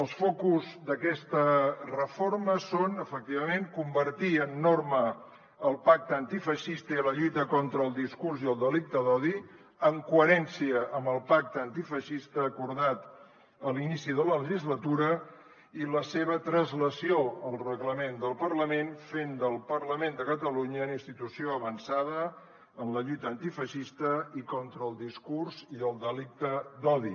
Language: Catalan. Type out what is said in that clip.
els focus d’aquesta reforma són efectivament convertir en norma el pacte antifeixista i la lluita contra el discurs i el delicte d’odi en coherència amb el pacte antifeixista acordat a l’inici de la legislatura i la seva translació al reglament del parlament fent del parlament de catalunya una institució avançada en la lluita antifeixista i contra el discurs i el delicte d’odi